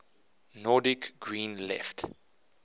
nordic green left